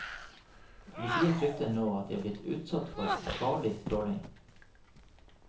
Politiet frykter nå at de er blitt utsatt for farlig stråling.